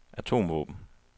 atomvåben